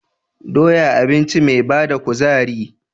Doya abinci ce me bada kuzari